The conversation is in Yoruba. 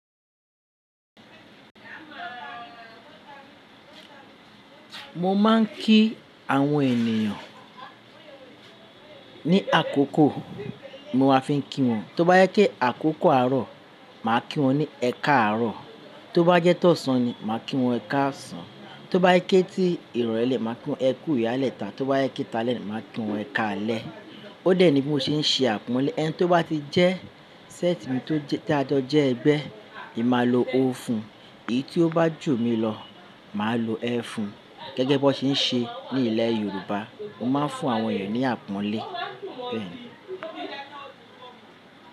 Mo máa ń kí àwọn ènìyàn ní àkókò mo máa fi ń kí wọn. Tóbá yẹ́ kí àkókò àárọ̀, màá kí wọ́n ní ẹ káàárọ̀. Tóbá jẹ́ tó ṣán ni, màá kí wọ́n ẹ káàṣán. Tóbá yẹ kí ti ìrọ̀lẹ́ lẹ̀, màá kí wọ́n ẹ kú ìyálẹ́ ta. Tóbá yẹ kí ta lẹ́ lẹ̀, màá kí wọ́n ẹ káalẹ́. Ó dẹ̀ ní bí mo ṣe ń ṣe àpọ́nlé. Ẹni tó bá ti jẹ́ séètì mi tó jẹ́ tá jọ jẹ́ ẹgbẹ́, èmi máa lo "o" fún un. Èyí tí ó bá jù mí lọ, màá lo "ẹ́" fún un. Gẹ́gẹ́ bí wọ́n ṣe ń ṣe ní ilẹ̀ Yorùbá, mo máa ń fún àwọn ènìyàn ní àpọ́nlé.